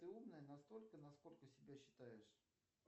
ты умная настолько насколько себя считаешь